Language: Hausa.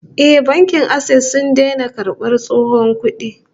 Eh, Bankin Access sun daina karbar tsohon kudi